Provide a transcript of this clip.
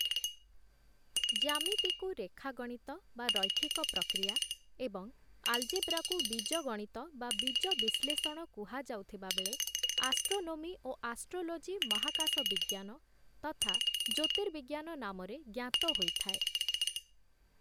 ଜ୍ୟାମିତିକୁ ରେଖା ଗଣିତ ବା ରୈଖିକ ପ୍ରକ୍ରିୟା ଏବଂ ଆଲ୍‌ଜେବ୍ରାକୁ ବୀଜଗଣିତ ବା ବୀଜ ବିଶ୍ଳେଷଣ କୁହାଯାଉଥିବା ବେଳେ ଆଷ୍ଟ୍ରୋନୋମି ଓ ଆଷ୍ଟ୍ରୋଲୋଜି ମହାକାଶ ବିଜ୍ଞାନ ତଥା ଜ୍ୟୋତିର୍ବିଜ୍ଞାନ ନାମରେ ଜ୍ଞାତ ହୋଇଥାଏ ।